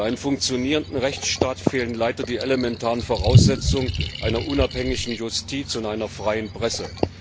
Für einen funktionierenden Rechtsstaat fehlen leider die elementaren Voraussetzungen einer unabhängigen Justiz und einer freien Presse.